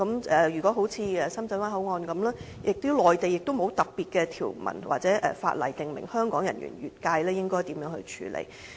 正如深圳灣口岸，內地亦沒有特別的條文或法例訂明香港人員越界應該如何處理。